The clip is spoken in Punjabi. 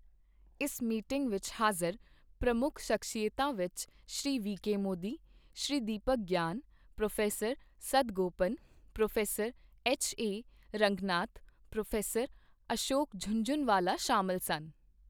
ਇਸ ਮੀਟਿੰਗ ਵਿੱਚ ਹਾਜ਼ਰ ਪ੍ਰਮੁੱਖ ਸ਼ਖਸੀਅਤਾਂ ਵਿੱਚ Shri VK Modi, Shri Deepak Gyan, prof Sadagopan, prof HA Ranganath, prof Ashok Jhunjhunwala ਸ਼ਾਮਲ ਸਨ।